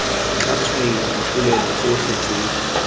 tla tshwaiwa dipolelo tsotlhe tse